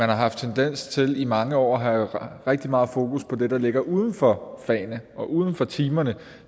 haft tendens til i mange år at have rigtig meget fokus på det der ligger uden for fagene og uden for timerne